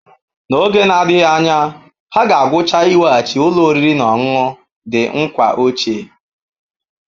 N'oge na-adịghị anya, ha ga-agwụcha iweghachi ụlọ oriri na ọṅụṅụ The Nkwa ochie.